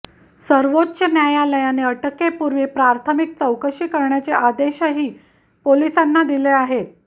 सर्वोच्च न्यायालयाने अटकेपूर्वी प्राथमिक चौकशी करण्याचे आदेशही पोलिसांना दिले आहेत